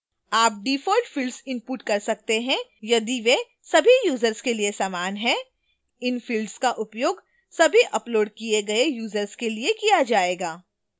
आप default fields input कर सकते हैं यदि वे सभी यूजर्स के लिए समान हैं इन fields का उपयोग सभी uploaded किए गए यूजर्स के लिए किया जाएगा